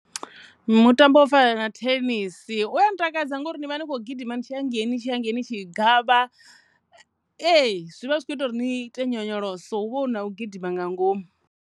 Mutambo wo fana na thenisi uya ntakadza ngori ni vha ni kho gidima ni tshi ya hangei ni tshi hangei ni tshi gavha, ee zwivha zwi kho ita uri ni tea nyonyoloso hu vha hu na u gidima nga ngomu.